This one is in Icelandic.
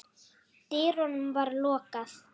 dyrunum var lokað.